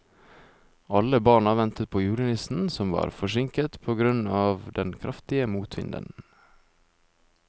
Alle barna ventet på julenissen, som var forsinket på grunn av den kraftige motvinden.